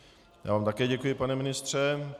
Já vám také děkuji, pane ministře.